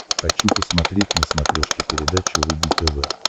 хочу посмотреть на смотрешке передачу рубль тв